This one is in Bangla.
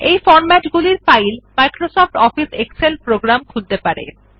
এই ফরম্যাট এর file Microsoft Office Excel program খুলতে পারে